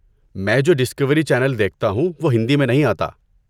میں جو Discovery channel دیکھتا ہوں وہ ہندی میں نہیں آتا۔